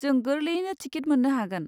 जों गोरलैयैनो टिकेट मोननो हागोन।